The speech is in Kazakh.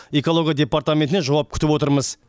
экология департаментінен жауап күтіп отырмыз